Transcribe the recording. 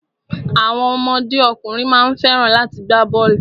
Àwọn ọmọdé ọkùnrin má ń fẹ́ràn láti gbá bọ́ọ̀lù.